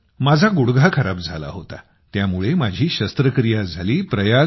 हो माझा गुडघा खराब झाला होता त्यामुळे माझी शस्त्रक्रिया झाली